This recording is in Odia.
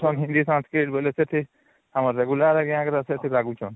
hindi sanskrit ବେଲେ ସେଠି ହଁ regular ଏତିକି ଲାଗୁଛନ